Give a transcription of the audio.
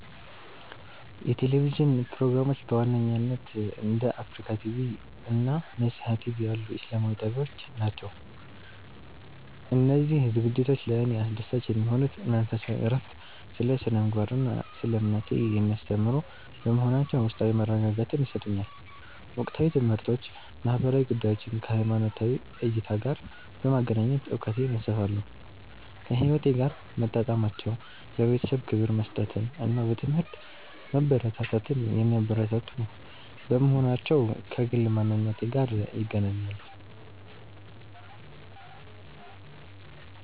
የቴሌቪዥን ፕሮግራሞች በዋነኝነት እንደ አፍሪካ ቲቪ (Africa TV) እና ነሲሃ ቲቪ (Nesiha TV) ያሉ ኢስላማዊ ጣቢያዎች ናቸው. እነዚህ ዝግጅቶች ለእኔ አስደሳች የሚሆኑት መንፈሳዊ እረፍት፦ ስለ ስነ-ምግባር እና ስለ እምነቴ የሚያስተምሩ በመሆናቸው ውስጣዊ መረጋጋትን ይሰጡኛል። ወቅታዊ ትምህርቶች፦ ማህበራዊ ጉዳዮችን ከሃይማኖታዊ እይታ ጋር በማገናኘት እውቀቴን ያሰፋሉ. ከህይወቴ ጋር መጣጣማቸው፦ ለቤተሰብ ክብር መስጠትን እና በትምህርት መበርታትን የሚያበረታቱ በመሆናቸው ከግል ማንነቴ ጋር ይገናኛሉ.